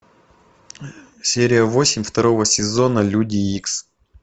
серия восемь второго сезона люди икс